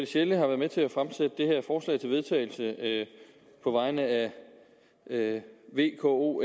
sjelle har været med til at fremsætte det her forslag til vedtagelse på vegne af v k o